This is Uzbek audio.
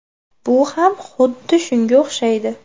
Bu ham xuddi shunga o‘xshaydi.